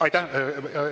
Aitäh!